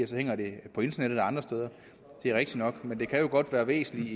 så hænger det på internettet og andre steder det er rigtigt nok men det kan jo godt være væsentligt